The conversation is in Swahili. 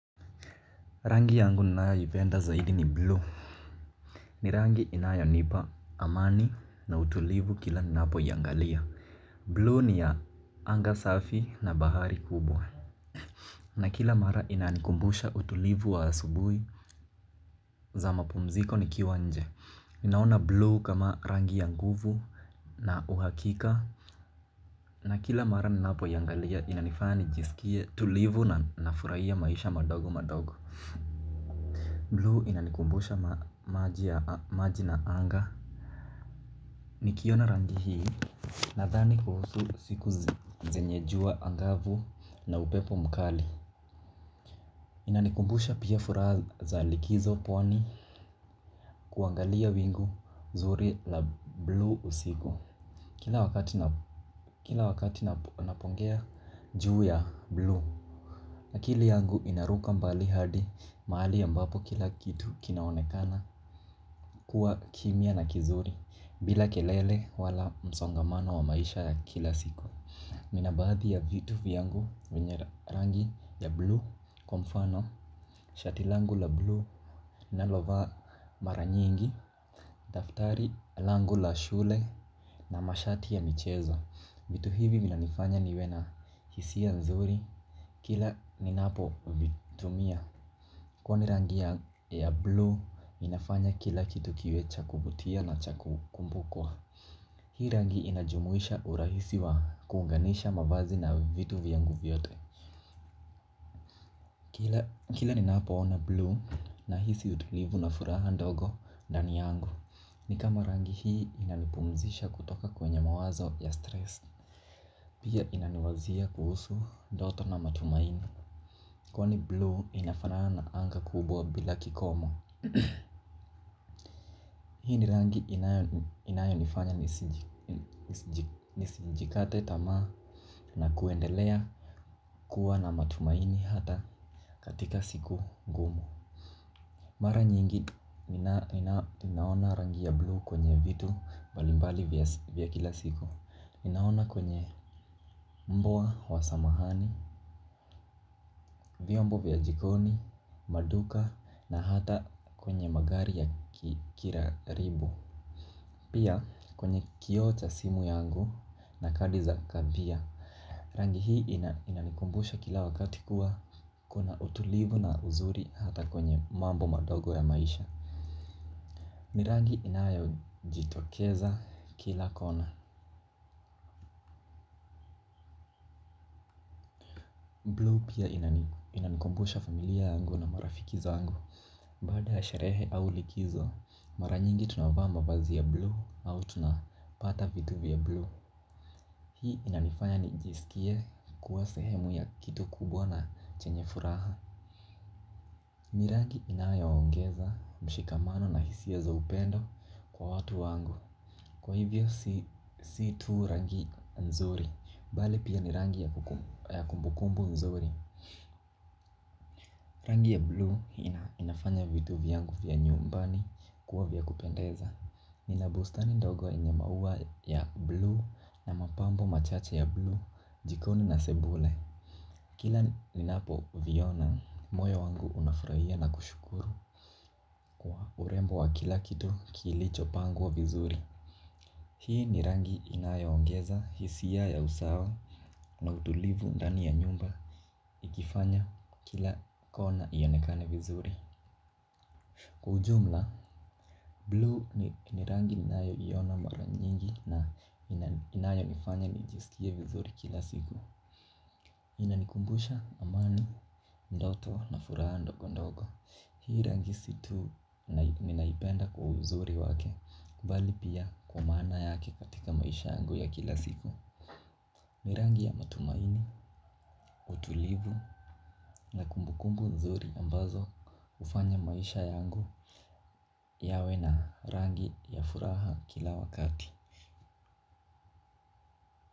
Rangi yangu ninayoipenda zaidi ni blue. Ni rangi inayonipa amani na utulivu kila ninapo iyangalia Blue ni ya anga safi na bahari kubwa. Na kila mara inanikumbusha utulivu wa asubui za mapumziko nikiwa nje. Ninaona blue kama rangi ya nguvu na uhakika. Na kila mara ninanipo iyangalia inanifanya nijisikie tulivu na nafuraia maisha madogo madogo Blue inanikumbusha maji na anga. Nikiona rangi hii nadhani kuhusu siku zenye jua angavu na upepo mkali. Inanikumbusha pia furaha za likizo pwani kuangalia wingu zuri la blue usiku. Kila wakati napongea juu ya blue akili yangu inaruka mbali hadi mahali ambapo kila kitu kinaonekana kuwa kimya na kizuri. Bila kelele wala msongamano wa maisha ya kila siku nina baadhi ya vitu vyangu wenye rangi ya blue. Kwa mfano shati langu la blue nalovaa mara nyingi. Daftari langu la shule na mashati ya michezo vitu hivi vinanifanya niwe na hisia nzuri. Kila ninapo vitumia. Kwani rangi ya blue inafanya kila kitu kiwe cha kuvutia na cha kumbukwa. Hii rangi inajumuisha urahisi wa kuunganisha mavazi na vitu vyangu vyote. Kila ninapoona blue nahisi utulivu na furaha ndogo ndani yangu. Ni kama rangi hii inanipumzisha kutoka kwenye mawazo ya stress. Pia inaniwazia kuhusu ndoto na matumaini. Kwani blue inafanana anga kubwa bila kikomo. Hini rangi inayo nifanya nisijikate tamaa na kuendelea kuwa na matumaini hata katika siku ngumu. Mara nyingi ninaona rangi ya blue kwenye vitu mbalimbali vya kila siku. Ninaona kwenye mbwa wa samahani, vyombo vya jikoni, maduka na hata kwenye magari ya kira ribu. Pia kwenye kioo cha simu yangu na kadi za kavia. Rangi hii inanikumbusha kila wakati kuwa kuna utulivu na uzuri hata kwenye mambo madogo ya maisha. Ni rangi inayojitokeza kila kona. Pia inanikumbusha familia yangu na marafiki zangu. Baada ya sharehe au likizo. Mara nyingi tunavaa mavazi ya blue au tunapata vitu vya blue. Hii inanifanya nijisikie kuwa sehemu ya kitu kubwa na chenye furaha. Ni rangi inayo ongeza mshikamano na hisia za upendo kwa watu wangu. Kwa hivyo si tu rangi nzuri, bali pia ni rangi ya kumbukumbu nzuri. Rangi ya blue inafanya vitu vyangu vya nyumbani kuwa vya kupendeza. Nina bustani ndogo yenye maua ya blue na mapambo machache ya blue jikoni na sebule. Kila ninapo viona, moyo wangu unafuraia na kushukuru. Urembo wa kila kitu kilicho pangwa vizuri. Hii ni rangi inayo ongeza, hisia ya usawa na utulivu ndani ya nyumba ikifanya kila kona iyonekane vizuri. Kwa ujumla, blue ni rangi ninayo iona mara nyingi ina inayo nifanya nijisikie vizuri kila siku. Inanikumbusha, amani, ndoto na furaha ndogondogo. Hii rangi si tu ninaipenda kwa uzuri wake mbali pia kwa maana yake katika maisha yangu ya kila siku. Ni rangi ya matumaini, utulivu na kumbukumbu nzuri ambazo ufanya maisha yangu yawe na rangi ya furaha kila wakati.